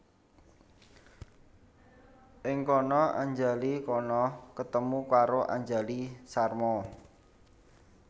Ing kana Anjali Khana ketemu karo Anjali Sharma